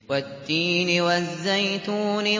وَالتِّينِ وَالزَّيْتُونِ